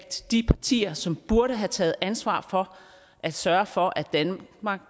de partier som burde have taget ansvaret for at sørge for at danmark